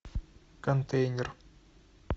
контейнер